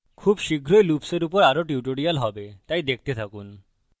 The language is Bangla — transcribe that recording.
খুব শীঘ্রই লুপ্সের উপর আরো tutorials হবে তাই দেখতে থাকুন